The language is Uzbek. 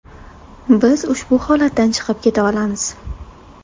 Biz ushbu holatdan chiqib keta olamiz.